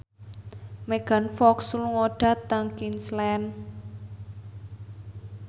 Megan Fox lunga dhateng Queensland